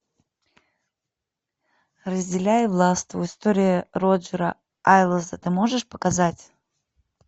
разделяй и властвуй история роджера эйлса ты можешь показать